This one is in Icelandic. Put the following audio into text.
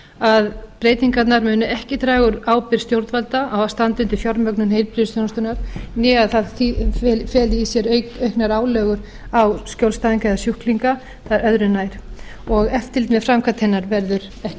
að breytingarnar munu ekki draga úr ábyrgð stjórnvalda á að standa undir fjármögnun heilbrigðisþjónustunnar né að það feli í sér auknar álögur á skjólstæðinga eða sjúklinga það er öðru nær eftirlit með framkvæmd hennar verður ekki